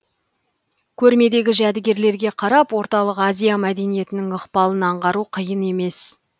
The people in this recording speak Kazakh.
көрмедегі жәдігерлерге қарап орталық азия мәдениетінің ықпалын аңғару қиын емес